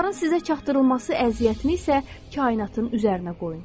Bunların sizə çatdırılması əziyyətini isə kainatın üzərinə qoyun.